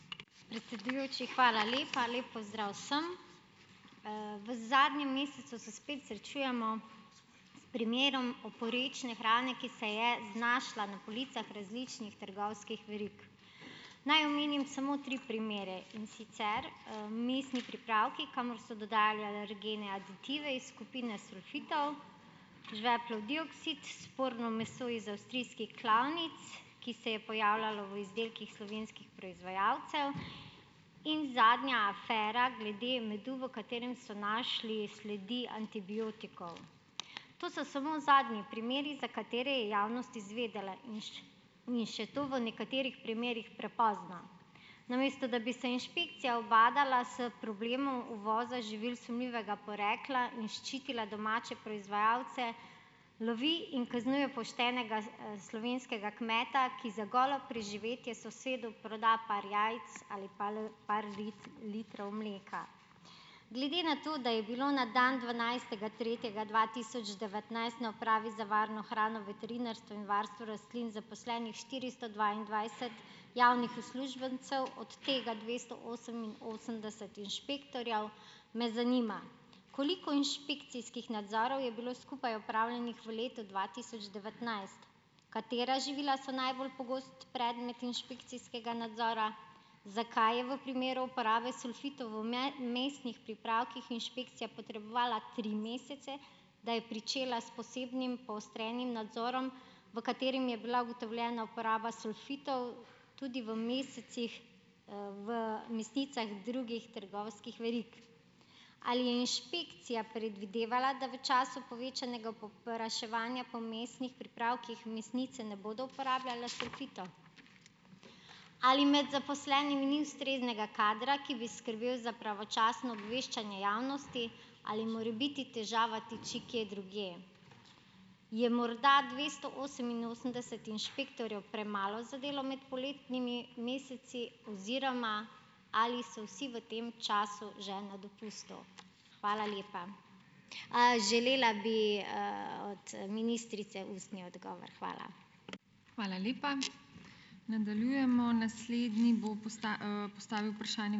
Predsedujoči, hvala lepa. Lep pozdrav vsem. V zadnjem mesecu se spet srečujemo s primerom oporečne hrane, ki se je znašla na policah različnih trgovskih verig. Naj omenim samo tri primere, in sicer, mesni pripravki, kamor so dodajali alergene, aditive iz skupine sulfitov, žveplov dioksid, sporno meso iz avstrijskih klavnic, ki se je pojavljajo v izdelkih slovenskih proizvajalcev, in zadnja afera glede medu, v katerem so našli sledi antibiotikov. To so samo zadnji primeri, za katere je javnost izvedela in in še to v nekaterih primerih prepozno. Namesto da bi se inšpekcija ubadala s problemom uvoza živil sumljivega porekla in ščitila domače proizvajalce, lovi in kaznuje poštenega, slovenskega kmeta, ki za golo preživetje sosedu proda par jajc ali pal, par litrov mleka. Glede na to, da je bilo na dan dvanajstega tretjega dva tisoč devetnajst na Upravi za varno hrano, veterinarstvo in varstvo rastlin zaposlenih štiristo dvaindvajset javnih uslužbencev, od tega dvesto oseminosemdeset inšpektorjev, me zanima: Koliko inšpekcijskih nadzorov je bilo skupaj opravljenih v letu dva tisoč devetnajst? Katera živila so najbolj pogosto predmet inšpekcijskega nadzora? Zakaj je v primeru uporabe sulfitov v mesnih pripravkih inšpekcija potrebovala tri mesece, da je pričela s posebnim poostrenim nadzorom, v katerem je bila ugotovljena uporaba sulfitov tudi v mesecih, v mesnicah drugih trgovskih verig? Ali je inšpekcija predvidevala, da v času povečanega povpraševanja po mesnih pripravkih mesnice ne bodo uporabljale sulfitov? Ali med zaposlenimi ni ustreznega kadra, ki bi skrbel za pravočasno obveščanje javnosti ali morebiti težava tiči kje drugje? Je morda dvesto oseminosemdeset inšpektorjev premalo za delo med poletnimi meseci oziroma ali so vsi v tem času že na dopustu? Hvala lepa, Želela bi, od ministrice ustni odgovor. Hvala.